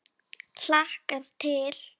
Hlakkar til.